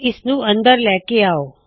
ਇਸ ਨੂੰ ਅੰਦਰ ਲੈ ਕੇ ਆਓ